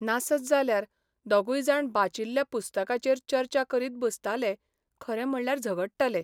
नासत जाल्यार दोगय जाण बाचिल्ल्या पुस्तकाचेर चर्चा करीत बसताले खरें म्हणल्यार झगडटाले.